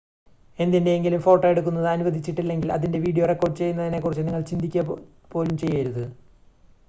എന്തിൻ്റെയെങ്കിലും ഫോട്ടോ എടുക്കുന്നത് അനുവദിച്ചിട്ടില്ലെങ്കിൽ അതിൻ്റെ വീഡിയോ റെക്കോർഡ് ചെയ്യുന്നതിനെ കുറിച്ച് നിങ്ങൾ ചിന്തിക്കുക പോലും ചെയ്യരുത്